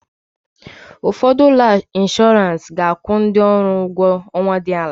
Ụfọdụ ụlọ ọrụ inshọrans ga-akwụ ndị ọrụ ụgwọ ọnwa dị ala.